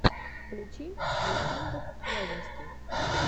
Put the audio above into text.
включи александр вяземский